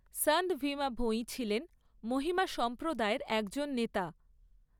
সন্ত ভীমা ভোঈ ছিলেন মহিমা সম্প্রদায়ের একজন নেতা।